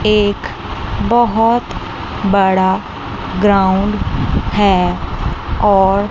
एक बहुत बड़ा ग्राउंड है और--